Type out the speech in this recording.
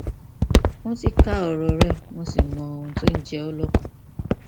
mo ti ka ọrọ rẹ mo sì mọ ohun tó ń jẹ ọ lọkàn